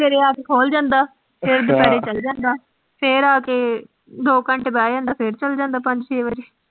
ਸਵੇਰੇ ਆ ਕੇ ਖੋਲ ਜਾਂਦਾ ਫਿਰ ਦੁਪਹਿਰੇ ਚਲ ਜਾਂਦਾ ਫਿਰ ਆ ਕੇ ਦੋ ਘੰਟੇ ਬਹਿ ਜਾਂਦਾ, ਫਿਰ ਚਲ ਜਾਂਦਾ ਪੰਜ ਛੇ ਵਜੇ।